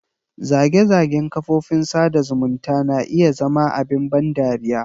Zage-zagen kafofin sada zumunta na iya zama abin ban dariya.